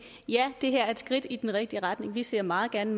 ja det her er et skridt i den rigtige retning vi ser meget gerne